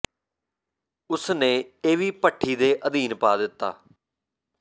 ਉਸ ਨੇ ਇਹ ਵੀ ਭੱਠੀ ਦੇ ਅਧੀਨ ਪਾ ਦਿੱਤਾ